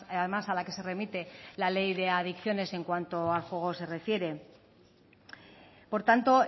además a la que se remite la ley de adicciones en cuanto a juego se refiere por tanto